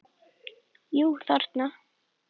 Jú, þarna!